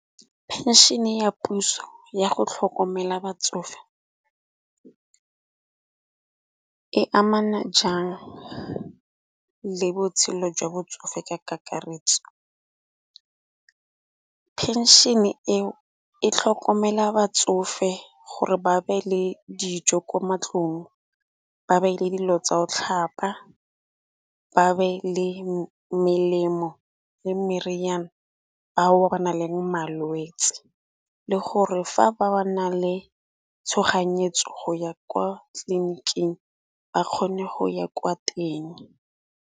Phenšene ya puso ya go tlhokomela batsofe e amana jang le botshelo jwa botsofe ka kakaretso. Phenšene eo e tlhokomela batsofe gore ba be le dijo ko mantlong, ba be le dilo tsa go tlhapa, ba be le melemo le meriana bao ba na le malwetsi. Le gore fa ba ba na le tshoganyetso go ya kwa tleliniking ba kgone go ya kwa teng.